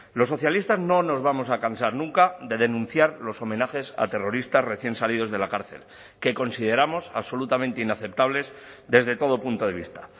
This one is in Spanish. los socialistas no nos vamos a cansar nunca de denunciar los homenajes a terroristas recién salidos de la cárcel que consideramos absolutamente inaceptables desde todo punto de vista